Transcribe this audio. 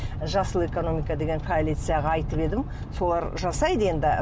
жасыл экономика деген коалицияға айтып едім солар жасайды енді